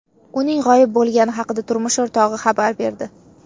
Uning g‘oyib bo‘lgani haqida turmush o‘rtog‘i xabar berdi.